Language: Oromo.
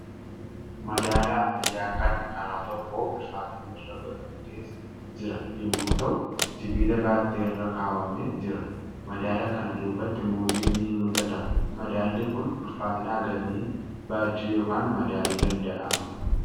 Madaala ammayyaakan karaa tokkoo ulfaatinni irra godhamtes jira yommuu ta'u , sibiila battee irra kaawwamee jira. Madaala kana duubatti muuziin ni mul'ata. Madaalli Kun ulfaatina hagamii baachuu yookaan madaaluu danda'ama?